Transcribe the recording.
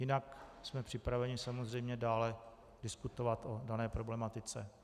Jinak jsme připraveni samozřejmě dále diskutovat o dané problematice.